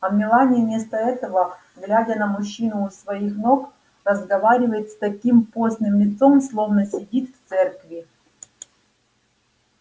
а мелани вместо этого глядя на мужчину у своих ног разговаривает с таким постным лицом словно сидит в церкви